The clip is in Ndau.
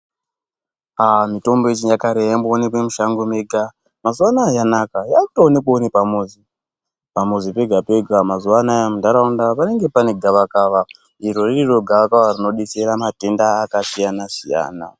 Mitombo yechinyakare yaimbooneke mushango mega mazuwanaya yanaka yakutoonekwawo nepamuzi pamuzi pega pega mazuwanaya munharaunda panenge pane gavakava iro ririro gavakava rinodetsera matenda akasiyana siyana .